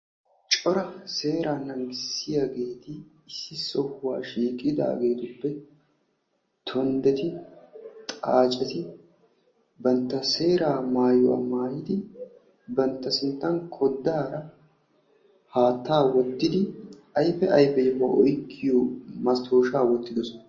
Cora seeraa naagissiyageeti issi sohuwa shiiqidaageetuppe tonddeti, xaaceti bantta seera maayuwa maayidi bantta sinttan koddaara haattaa wottidi ayfe ayfe yohuwa masttoishaa wottidosona.